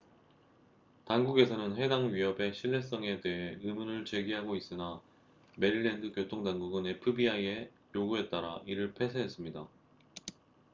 당국에서는 해당 위협의 신뢰성에 대해 의문을 제기하고 있으나 메릴랜드 교통 당국은 fbi의 요구에 따라 이를 폐쇄했습니다